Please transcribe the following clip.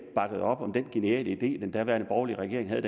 bakkede op om den geniale idé den daværende borgerlige regering havde